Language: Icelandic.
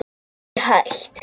Það er ekki hægt